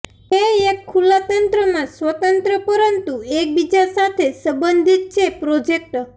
તે એક ખુલ્લા તંત્રમાં સ્વતંત્ર પરંતુ એકબીજા સાથે સંબંધિત છે પ્રોજેક્ટ